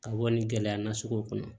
Ka bɔ ni gɛlɛya na sugu kɔnɔ